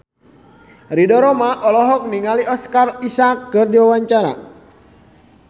Ridho Roma olohok ningali Oscar Isaac keur diwawancara